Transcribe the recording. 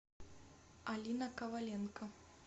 алина коваленко